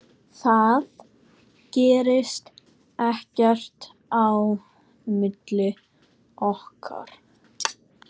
Það gerðist ekkert á milli okkar.